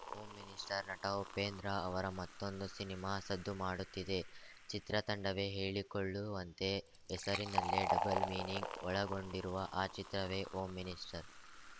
home minister ನಟ ಉಪೇಂದ್ರ ಅವರ ಮತ್ತೊಂದು ಸಿನಿಮಾ ಸದ್ದು ಮಾಡುತ್ತಿದೆ ಚಿತ್ರತಂಡವೇ ಹೇಳಿಕೊಳ್ಳುವಂತೆ ಹೆಸರಿನಲ್ಲೇ ಡಬಲ್‌ ಮೀನಿಂಗ್‌ ಒಳಗೊಂಡಿರುವ ಆ ಚಿತ್ರವೇ ಹೋಮ್‌ ಮಿನಿಸ್ಟರ್‌